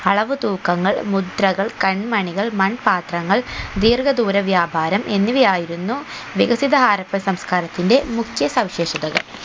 അളവ് തൂക്കങ്ങൾ മുദ്രകൾ കൺ മണികൾ മൺപാത്രങ്ങൾ ദീർഘദൂരവ്യാപാരം എന്നിവ ആയിരുന്നു വികസിത ഹാരപ്പൻ സംസ്ക്കാരത്തിന്റെ മുഖ്യ സവിശേഷതകൾ